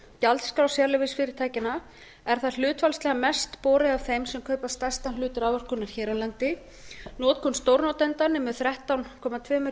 gjaldskrá sérleyfisfyrirtækjanna er það hlutfallslega mest borið af þeim sem kaupa stærstan hluta raforkunnar hér á landi notkun stórnotenda nemur þrettán komma tvö